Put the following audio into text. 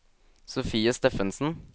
Sofie Steffensen